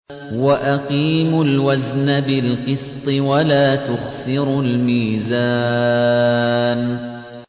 وَأَقِيمُوا الْوَزْنَ بِالْقِسْطِ وَلَا تُخْسِرُوا الْمِيزَانَ